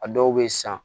A dɔw bɛ san